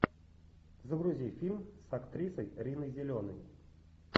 загрузи фильм с актрисой риной зеленой